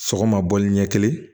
Sɔgɔma bɔli ɲɛ kelen